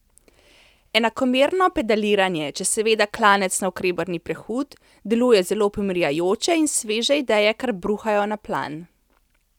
Enakomerno pedaliranje, če seveda klanec navkreber ni prehud, deluje zelo pomirjajoče in sveže ideje kar bruhajo na plan.